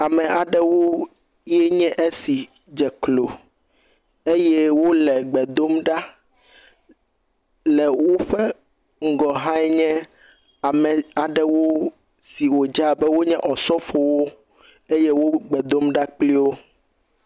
Ame aɖewo nye esi dze klo eye wole gbe dom ɖa, le woƒe ŋgɔ yea nye ame aɖewo siwo dzi abe osɔfowo gbe dom ɖa kple wò.